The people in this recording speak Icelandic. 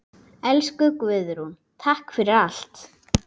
Elsku Guðrún, takk fyrir allt.